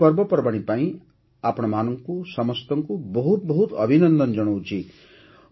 ଏହି ପର୍ବପର୍ବାଣୀ ପାଇଁ ଆପଣ ସମସ୍ତଙ୍କୁ ବହୁତ ବହୁତ ଅଭିନନ୍ଦନ ଜଣାଉଛି